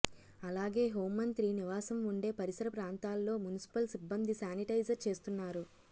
అలాగే హోంమంత్రి నివాసం ఉండే పరిసర ప్రాంతాల్లో మున్సిపల్ సిబ్బంది శానిటైజర్ చేస్తున్నారు